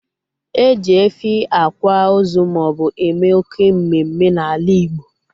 E ji efi akwa ozu maobu eme oké mmemme n'ala igbo